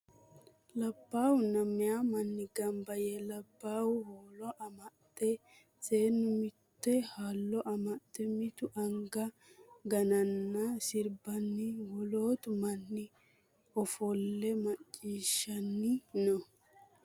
Labbayhunna meeya manni gamba yee labballu hallo amaxxe seennu mitu hallo amaxe mitu anga gananna sirbanna wolootu manni ofolle macciishshanni no.